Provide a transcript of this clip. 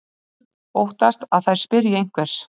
Óttast að þær spyrji einhvers.